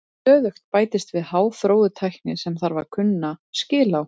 Stöðugt bætist við háþróuð tækni sem þarf að kunna skil á.